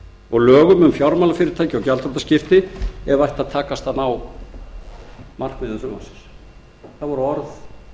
og lögum um fjármálafyrirtæki og gjaldþrotaskipti ef takast ætti að ná markmiðum frumvarpsins það voru orð